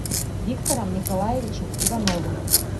виктором николаевичем ивановым